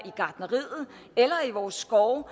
gartnerier eller i vores skove